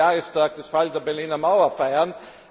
20. Jahrestag des Falls der Berliner Mauer feiern.